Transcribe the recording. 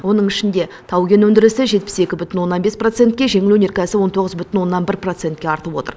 оның ішінде тау кен өндірісі жетпіс екі бүтін оннан бес процентке жеңіл өнеркәсіп он тоғыз бүтін оннан бір процентке артып отыр